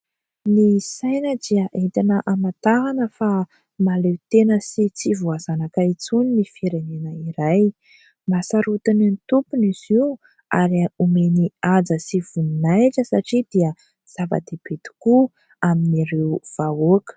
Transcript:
Ny saina dia entina hamantarana fa mahaleo tena sy tsy voazanaka intsony ny firenena iray. Mahasarotiny ny tompony izy io; ary omeny haja sy voninahitra satria dia zava-dehibe tokoa amin'ireo vahoaka.